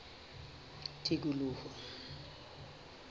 tikoloho